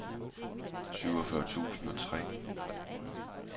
syvogfyrre tusind og tre